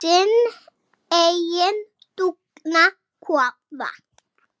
Sinn eiginn dúfnakofa.